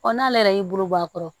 n'ale yɛrɛ y'i bolo bɔ a kɔrɔ